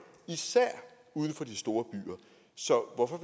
især uden for de store byer så hvorfor